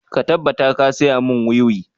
Ka tabbata ka saya mun wiwi!